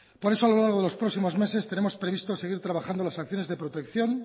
por eso a lo largo de los próximos meses tenemos previstos seguir trabajando las acciones de protección